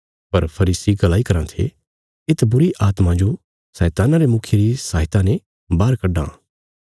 पर फरीसी गलाई कराँ थे येत बुरीआत्मां जो शैतान्ना रे मुखिये री सहायता ने बाहर कड्डां